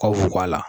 Ka fuko la